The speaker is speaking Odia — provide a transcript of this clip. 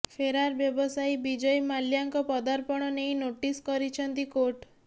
ଫେରାର ବ୍ୟବସାୟୀ ବିଜୟ ମାଲ୍ୟାଙ୍କ ପ୍ରତ୍ୟାର୍ପଣ ନେଇ ନୋଟିସ୍ କରିଛନ୍ତି କୋର୍ଟ